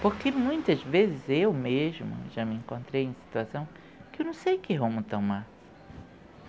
Porque muitas vezes eu mesma já me encontrei em situação que eu não sei que rumo tomar.